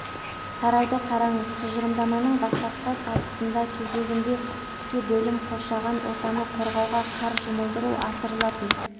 тарауды қараңыз тұжырымдаманың бастапқы сатысында кезегінде іске бөлім қоршаған ортаны қорғауға қар жұмылдыру асырылатын